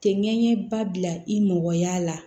Tɛ ɲɛɲɛ ba bila i mɔgɔ y'a la